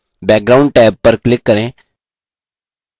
background tab पर click करें